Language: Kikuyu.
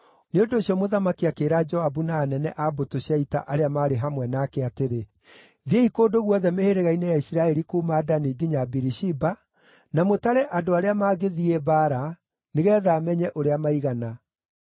Nĩ ũndũ ũcio mũthamaki akĩĩra Joabu na anene a mbũtũ cia ita arĩa maarĩ hamwe nake atĩrĩ, “Thiĩi kũndũ guothe mĩhĩrĩga-inĩ ya Isiraeli kuuma Dani nginya Birishiba na mũtare andũ arĩa mangĩthiĩ mbaara, nĩgeetha menye ũrĩa maigana.”